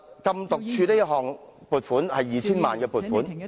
禁毒處這項 2,000 萬元的撥款......